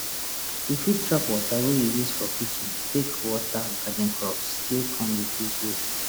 you fit trap water wey you use for kitchen take water garden crops still come reduce waste